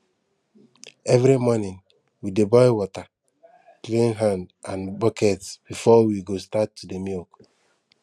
every morning we dey boil water clean hand and bucket before we go start to dey milk